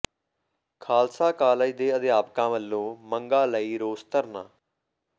Khalsa college ਦੇ ਅਧਿਆਪਕਾਂ ਵਲੋਂ ਮੰਗਾਂ ਲਈ ਰੋਸ ਧਰਨਾ